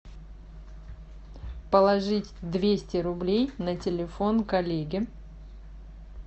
положить двести рублей на телефон коллеге